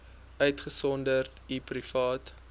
uitgesonderd u private